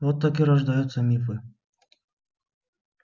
вот так и рождаются мифы